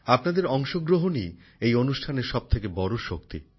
আপনাদের অংশগ্রহণই এই অনুষ্ঠানের সবথেকে বড় শক্তি